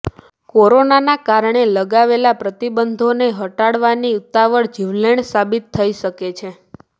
કોરોનાના કારણે લગાવેલા પ્રતિબંધોને હટાવવાની ઉતાવળ જીવલેણ સાબિત થઈ શકે છે